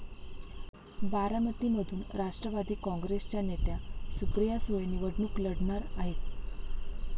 बारामतीमधून राष्ट्रवादी काँग्रेसच्या नेत्या सुप्रिया सुळे निवडणूक लढणार आहेत.